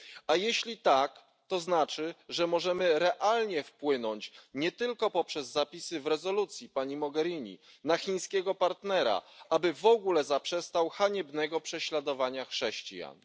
A jeśli tak, to znaczy, że możemy realnie wpłynąć nie tylko poprzez zapisy w rezolucji, pani Mogherini, na chińskiego partnera, aby w ogóle zaprzestał haniebnego prześladowania chrześcijan.